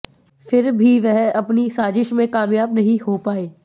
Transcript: फिर भी वह अपनी साजिश में कामयाब नहीं हो पाए